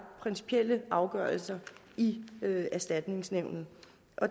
principielle afgørelser i erstatningsnævnet